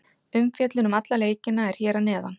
Umfjöllun um alla leikina er hér að neðan.